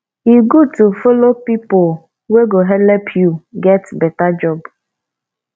e good to follow pipu wey go helep you get beta job